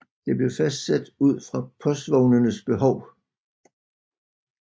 Det blev fastsat ud fra postvognenes behov